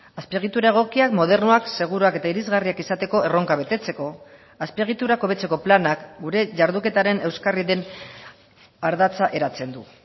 azpiegitura egokiak modernoak seguruak eta irisgarriak izateko erronka betetzeko azpiegiturak hobetzeko planak gure jarduketaren euskarri den ardatza eratzen du